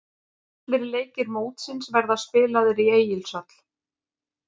Allir leikir mótsins verða spilaðir í Egilshöll.